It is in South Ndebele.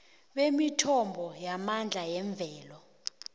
bemithombo yamandla yemvelo